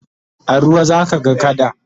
a ruwa zaka ga kada